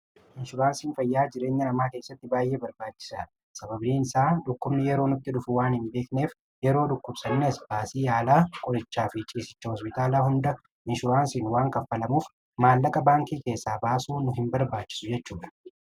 Inshuraansiin fayyaa jireenya namaa keessatti baay'ee barbaachisa. sababiin isaa dhukkubni yeroo nutti dhufu waan hin beekneef yeroo dhukkubsannees baasii haala qorichaa fi ciisicha hospitaalaa hunda inshuraansiin waan kaffalamuuf maallaqa baankii keessaa baasuu nu hin barbaachisu jechuudha.